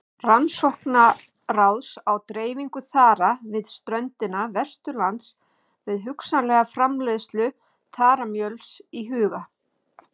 Rannsóknaráðs á dreifingu þara við ströndina vestanlands með hugsanlega framleiðslu þaramjöls í huga.